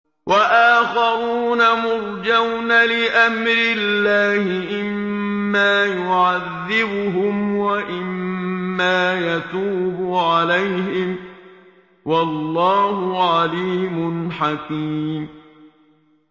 وَآخَرُونَ مُرْجَوْنَ لِأَمْرِ اللَّهِ إِمَّا يُعَذِّبُهُمْ وَإِمَّا يَتُوبُ عَلَيْهِمْ ۗ وَاللَّهُ عَلِيمٌ حَكِيمٌ